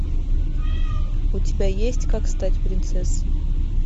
у тебя есть как стать принцессой